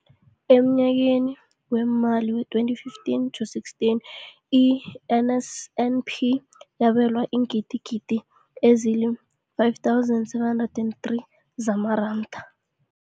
Emnyakeni weemali we-2015 to 16, i-NSNP yabelwa iingidigidi ezi-5 703 zamaranda.